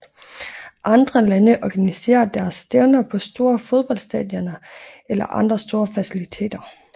Andre lande organiserer deres stævner på store fodboldstadioner eller andre store faciliteter